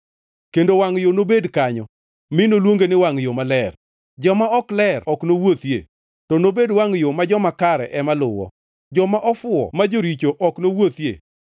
Kendo wangʼ yo nobedi kanyo, mi noluonge ni Wangʼ Yo Maler. Joma ok ler ok nowuothie, to nobedi wangʼ yo ma joma kare ema luwo, joma ofuwo ma joricho ok nowuothie.